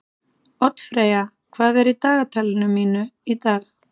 Oddfreyja, hvað er í dagatalinu mínu í dag?